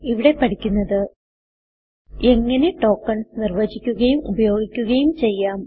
ഇവിടെ പഠിക്കുന്നത് എങ്ങനെ ടോക്കൻസ് നിർവചിക്കുകയും ഉപയോഗിക്കുകയും ചെയ്യാം